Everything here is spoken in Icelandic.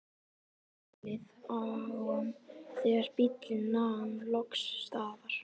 Elliðaám þegar bíllinn nam loks staðar.